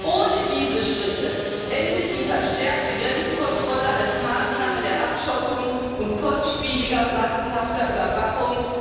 Ohne diese Schritte endet die verstärkte Grenzkontrolle als Maßnahme der Abschottung und kostspieliger, massenhafter Überwachung.